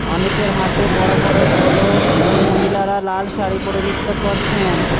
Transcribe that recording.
অনেকের হাতে বড় বড় ঢোলক এবং মহিলারা লাল শাড়ি পড়ে নৃত্য করছেন।